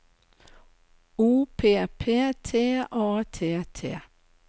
O P P T A T T